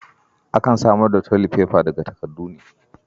Akan samar tolifefa daga takardu ne.